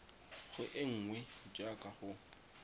go e nngwe jaaka go